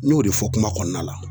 N y'o de fɔ kuma kɔnɔna la